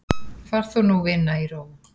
Far þú nú vina í ró.